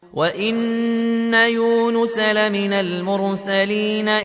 وَإِنَّ يُونُسَ لَمِنَ الْمُرْسَلِينَ